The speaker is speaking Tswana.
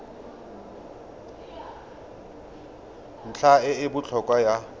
ntlha e e botlhokwa ya